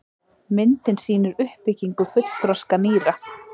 myndin sýnir uppbyggingu fullþroska nýra